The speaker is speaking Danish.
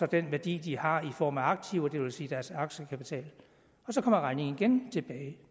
den værdi de har i form af aktiver det vil sige deres aktiekapital og så kommer regningen igen tilbage